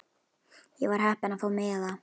Ég var heppin að fá miða.